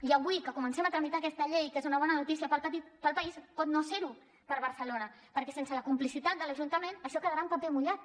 i avui que comencem a tramitar aquesta llei que és una bona notícia per al país pot no ser ho per a barcelona perquè sense la complicitat de l’ajuntament això quedarà en paper mullat